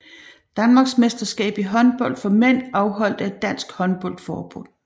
Danmarksmesterskab i håndbold for mænd afholdt af Dansk Håndbold Forbund